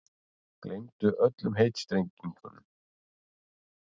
Gleymdu öllum heitstrengingum.